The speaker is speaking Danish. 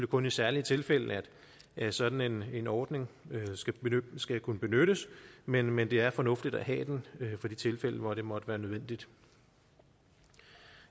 kun i særlige tilfælde at sådan en en ordning skal kunne benyttes men men det er fornuftigt at have den for det tilfælde hvor det måtte være nødvendigt